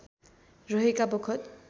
रहेका बखत